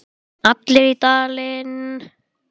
Allir í Dalinn!